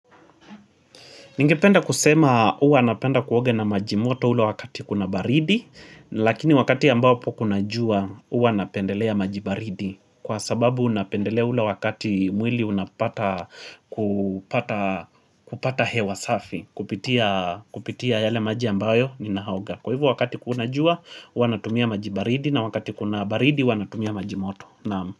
Ningependa kusema uwa napenda kuoga na majimoto ula wakati kuna baridi, lakini wakati ambapo kuna jua huwa napendelea maji baridi. Kwa sababu napendelea ula wakati mwili unapata kupata hewa safi, kupitia yale maji ambayo ninaoga. Kwa hivo wakati kuna jua, uwa natumia maji baridi na wakati kuna baridi, uwa natumia majimoto.